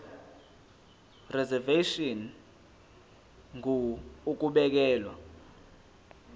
reservation ngur ukubekelwa